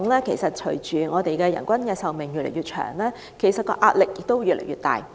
事實上，隨着人均壽命越來越長，香港醫療系統承受的壓力亦越來越大。